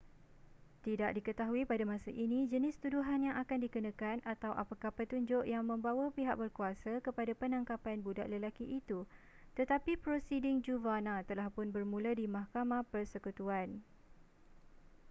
tidak diketahui pada masa ini jenis tuduhan yang akan dikenakan atau apakah petunjuk yang membawa pihak berkuasa kepada penangkapan budak lelaki itu tetapi prosiding juvana telahpun bermula di mahkamah persekutuan